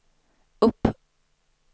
upp